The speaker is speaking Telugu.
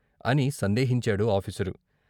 అని సందేహించాడు ఆఫీసరు.